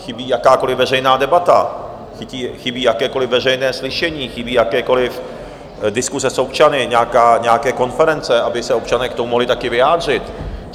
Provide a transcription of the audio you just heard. Chybí jakákoli veřejná debata, chybí jakékoliv veřejné slyšení, chybí jakékoliv diskuse s občany, nějaké konference, aby se občané k tomu mohli taky vyjádřit.